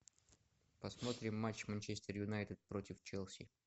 посмотрим матч манчестер юнайтед против челси